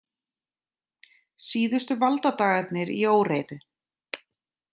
Síðustu valdadagarnir í óreiðu